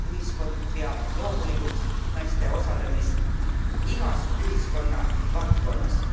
Ühiskond peab loomulikuks naiste osalemist igas ühiskonna valdkonnas.